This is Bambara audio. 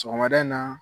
Sɔgɔmada in na